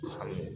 Ayi